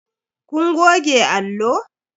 Kun goge allo?